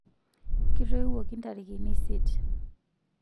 kitoiwuoki ntarikin isieet